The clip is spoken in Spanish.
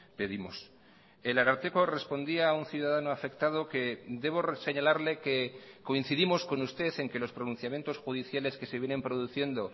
pedimos el ararteko respondía a un ciudadano afectado que debo reseñalarle que coincidimos con usted en que los pronunciamientos judiciales que se vienen produciendo